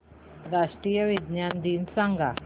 राष्ट्रीय विज्ञान दिन सांगा